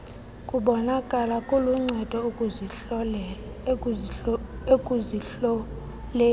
kubonakala kuluncedo ekuzihloleni